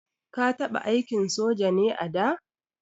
Ka taɓa aikin soja ne a da?